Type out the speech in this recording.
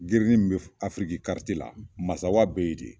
Grinin mi afiriki la Masawa be yen de.